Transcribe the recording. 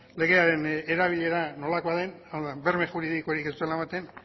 legearen erabilera nolakoa den hau da berme juridikorik ez duela ematen